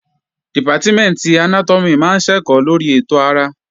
Dìpátímẹ̀ntì Anátọ́mì máa ń ṣẹ̀kọ́ lórí ètò ara